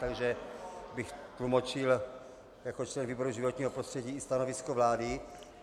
Takže bych tlumočil jako člen výboru životního prostředí i stanovisko vlády.